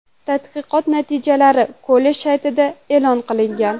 Tadqiqot natijalari kollej saytida e’lon qilingan .